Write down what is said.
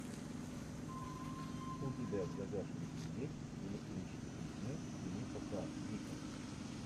у тебя в загашнике есть электрические сны филипа к дика